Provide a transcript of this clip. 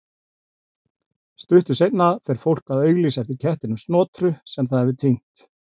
Stuttu seinna fer fólk að auglýsa eftir kettinum Snotru sem það hefur týnt.